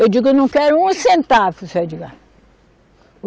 Eu digo, eu não quero um centavo, seu Edgar